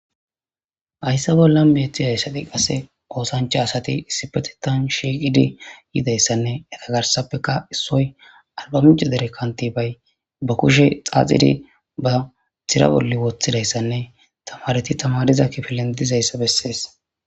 Hayssa bolla meethi hayssati qase oosancha asati issipetetan shiiqidi yidayssanne eta garsappeka issoy alba minca dere kanti bay ba kushe xaaxidi ba tira bolle woththidayssanne tamareti tamariza kifilen dizayssa bessees.